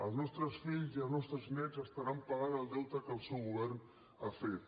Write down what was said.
els nostres fills i els nostres néts estaran pagant el deute que el seu govern ha fet